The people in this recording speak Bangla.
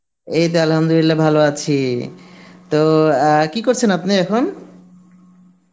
এইতো Arbi ভালো আছি? তো অ্যাঁ কী করছেন আপনি এখন?